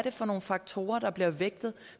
for nogle faktorer der bliver vægtet